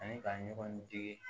Ani ka ɲɔgɔn dege